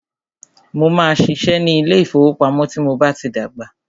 Mó máà ṣiṣẹ́ ní ilé ìfọwọ́pamo tí mo bá tí dàgbà.